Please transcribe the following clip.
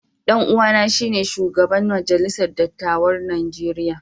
Dan uwana shine shugaban majalisar dattawan Najeriya.